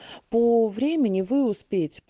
по времени вы успеть